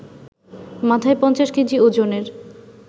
মাথায় ৫০ কেজি ওজনের